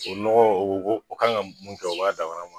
O nɔgɔ o o o kan ga mun kɛ o b'a dama ma